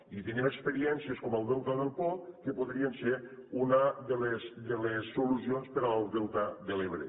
i tenim experiències com el delta del po que podrien ser una de les solucions per al delta de l’ebre